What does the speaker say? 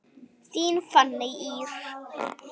Þín Fanney Ýr.